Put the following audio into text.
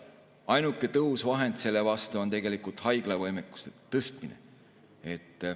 Ainuke tõhus vahend selle vastu on haiglavõimekuse tõstmine.